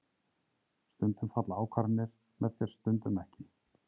Stundum falla ákvarðanir með þér stundum ekki.